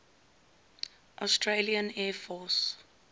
australian air force